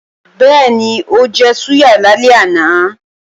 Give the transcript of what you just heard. Bẹ́ẹ̀ni, ó jẹ súyà lálẹ́ àná